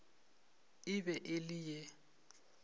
e be e le ye